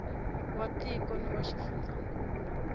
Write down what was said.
wa tiko na wa xifundzankulu